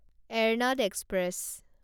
Ernad express